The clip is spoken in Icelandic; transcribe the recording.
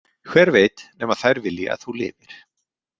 Hver veit nema þær vilji að þú lifir.